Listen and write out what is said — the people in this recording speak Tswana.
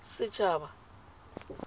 setshaba